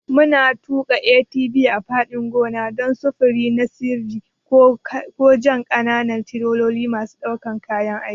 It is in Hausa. Muna tuƙa ATV a fadin gona, ko don sufuri na sirri ko jan ƙananan tireloli masu ɗaukan kayan aiki.